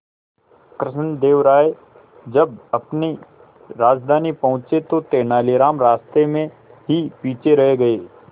कृष्णदेव राय जब अपनी राजधानी पहुंचे तो तेलानीराम रास्ते में ही पीछे रह गए